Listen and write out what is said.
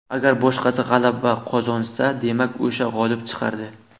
Agar boshqasi g‘alaba qozonsa, demak, o‘sha g‘olib chiqardi.